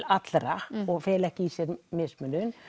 alla og felur ekki í sér mismunun